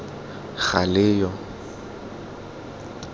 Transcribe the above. galeyo